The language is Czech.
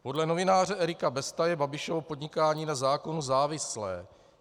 Podle novináře Erika Besta je Babišovo podnikání na zákonu závislé.